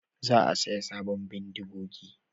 Za a saya sabon bindigogi